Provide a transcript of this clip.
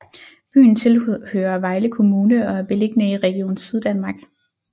Byen tilhører Vejle Kommune og er beliggende i Region Syddanmark